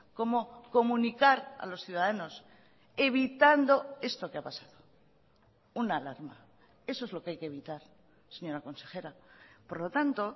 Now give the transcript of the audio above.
cómo comunicar a los ciudadanos evitando esto que ha pasado una alarma eso es lo que hay que evitar señora consejera por lo tanto